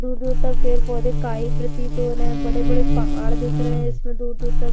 दूर-दूर तक पेड़-पौधे काई प्रतीत हो रहे है बड़े-बड़े पहाड़ दिख रहे है इसमें दूर-दूर तक।